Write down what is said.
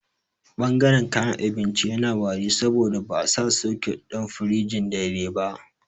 Ɓangaren kayan abinci yana wari saboda ba'a sa soket ɗin firijin daidai ba